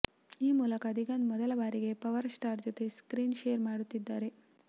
ಈ ಮೂಲಕ ದಿಗಂತ್ ಮೊದಲ ಬಾರಿಗೆ ಪವರ್ ಸ್ಟಾರ್ ಜೊತೆ ಸ್ಟ್ರೀನ್ ಶೇರ್ ಮಾಡುತ್ತಿದ್ದಾರೆ